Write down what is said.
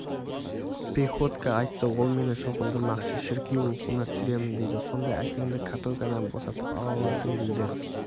приходько айтты ол мені шоқындырмақшы шіркеу оқуына түсіремін дейді сонда әкеңді каторгадан босатып ала аласың дейді